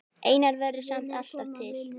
Einar verður samt alltaf til.